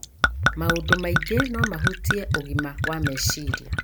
Maũndũ maingĩ no mahutie ũgima wa meciria,